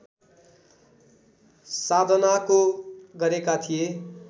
साधनाको गरेका थिए